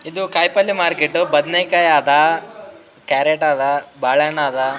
ಇದು ಕಾಯಿಪಲ್ಲ ಮಾರ್ಕೆಟ್ ಬದ್ನೆಕಾಯಿ ಆದ ಕ್ಯಾರೆಟ್ ಆದ ಬಾಳೆಹಣ್ಣು ಆದ.